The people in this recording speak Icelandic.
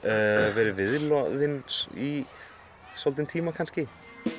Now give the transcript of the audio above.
verið viðloðinn í svolítinn tíma kannski